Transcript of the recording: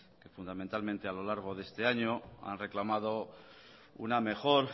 que fundamentalmente a lo largo de este año han reclamado una mejor